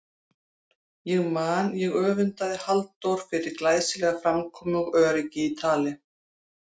Ég man ég öfundaði Halldór fyrir glæsilega framkomu og öryggi í tali.